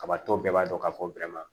Kabatɔ bɛɛ b'a dɔn k'a fɔ